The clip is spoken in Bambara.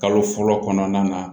Kalo fɔlɔ kɔnɔna na